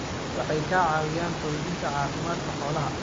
Waxay ka caawiyaan xoojinta caafimaadka xoolaha.